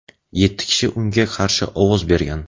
yetti kishi unga qarshi ovoz bergan.